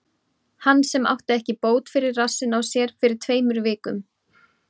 Hann sem átti ekki bót fyrir rassinn á sér fyrir tveimur vikum?